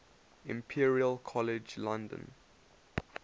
imperial college london